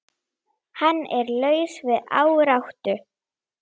Hann er laus við áráttu.